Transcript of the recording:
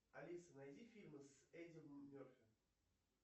алиса найди фильмы с эдди мерфи